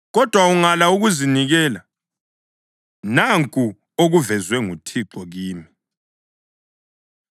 Kodwa ungala ukuzinikela, nanku okuvezwe nguThixo kimi: